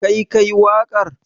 Kai ka yi waƙar?